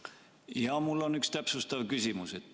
Jaa, mul on üks täpsustav küsimus.